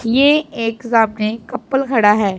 ये एक सामने कपल खड़ा है।